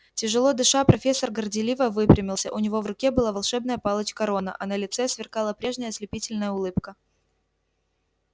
тяжело дыша профессор горделиво выпрямился у него в руке была волшебная палочка рона а на лице сверкала прежняя ослепительная улыбка